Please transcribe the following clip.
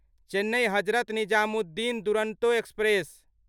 Chennai Hazrat Nizamuddin Duronto express